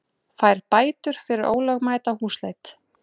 Fær bætur fyrir ólögmæta húsleit